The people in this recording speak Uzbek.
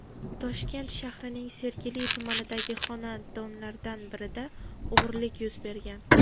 Toshkent shahrining Sergeli tumanidagi xonadonlardan birida o‘g‘rilik yuz bergan.